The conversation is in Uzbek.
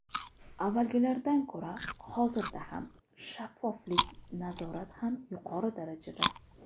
Avvalgilardan ko‘ra hozirda ham shaffoflik, nazorat ham yuqori darajada.